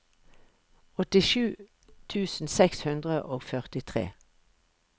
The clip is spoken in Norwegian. åttisju tusen seks hundre og førtitre